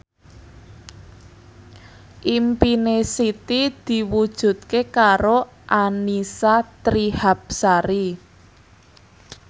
impine Siti diwujudke karo Annisa Trihapsari